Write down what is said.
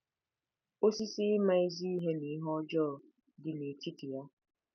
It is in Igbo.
“Osisi ịma ezi ihe na ihe ọjọọ” dị n'etiti ya.